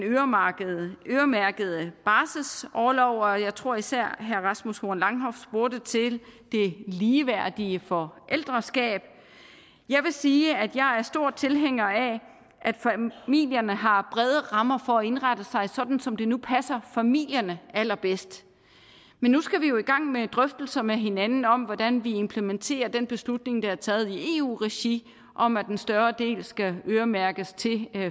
øremærkede barselsorlov og jeg tror især herre rasmus horn langhoff spurgte til det ligeværdige forældreskab jeg vil sige at jeg er stor tilhænger af at familierne har brede rammer for at indrette sig sådan som det nu passer familierne allerbedst men nu skal vi jo i gang med drøftelser med hinanden om hvordan vi implementerer den beslutning der er taget i eu regi om at en større del skal øremærkes til